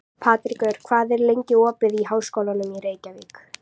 Patrekur, hvað er lengi opið í Háskólanum í Reykjavík?